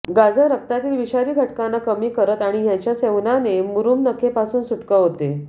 गाजर रक्तातील विषारी घटकांना कमी करत आणि ह्याच्या सेवनाने मुरूम नखे पासून सुटका होते